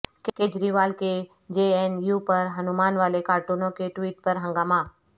کیجریوال کے J N U پر ہنومان والے کارٹون کے ٹویٹ پر ہنگامہ